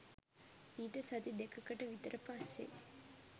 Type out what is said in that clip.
ඊට සති දෙකකට විතර පස්සෙ